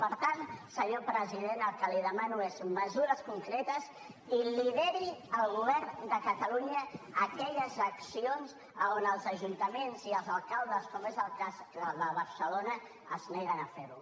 per tant senyor president el que li demano és mesures concretes i que lideri el govern de catalunya aquelles accions a on els ajuntaments i els alcaldes com és el cas de barcelona es neguen a ferho